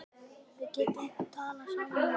Við getum talað saman í næði